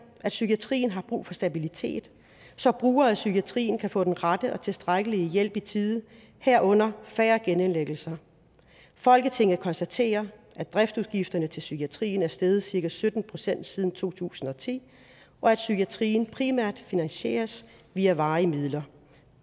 at psykiatrien har brug for stabilitet så brugere af psykiatrien kan få den rette og tilstrækkelige hjælp i tide herunder færre genindlæggelser folketinget konstaterer at driftsudgifterne til psykiatrien er steget cirka sytten procent siden to tusind og ti og at psykiatrien primært finansieres via varige midler